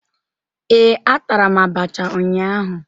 Ee, atara m abacha ụnyaahụ